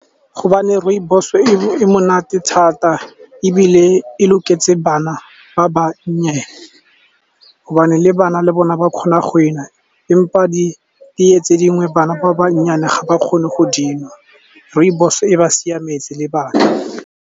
Gobane rooibos e monate thata ebile e loketse bana ba bannye, gobane le bana le bona ba kgona go enwa , mme di tee tse dingwe bana ba bannyenyane ga ba kgone go di nwa. Rooibos e ba siametse le bana.